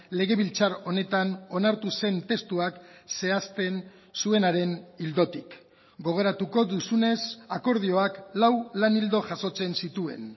legebiltzar honetan onartu zen testuak zehazpen zuenaren ildotik gogoratuko duzunez akordioak lau lan ildo jasotzen zituen